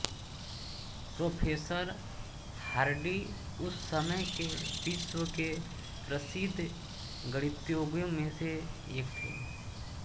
professor Hardy उस समय के विश्व के प्रसिद्ध गणितज्ञों में से एक थे